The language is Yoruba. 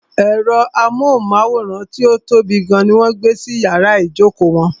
Ẹ̀rọ amóhùnmáwòrán tí ó tóbi gan ní wọ́n gbé sí iyàrá ìjókò wọn.